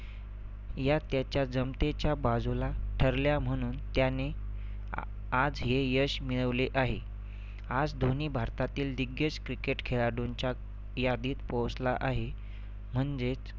या त्याच्या जमतेच्या बाजूला ठरल्या म्हणून त्याने आ आज हे यश मिळवले आहे. आज धोनी भारतातील दिग्गज cricket खेळाडूंच्या यादीत पोहोचला आहे म्हणजेच